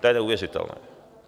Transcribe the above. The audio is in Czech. To je neuvěřitelné.